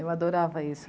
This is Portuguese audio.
Eu adorava isso.